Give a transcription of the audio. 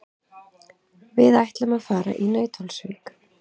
Við ætlum að fara í Nauthólsvík.